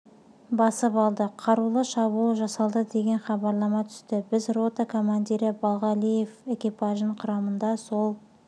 басып алды қарулы шабуыл жасалды деген хабарлама түсті біз рота командирі балғалиев экипажының құрамында сол